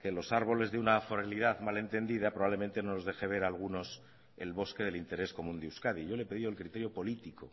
que los árboles de una foralidad mal entendida probablemente no nos deje ver a algunos el bosque del interés común de euskadi yo le he pedido el criterio político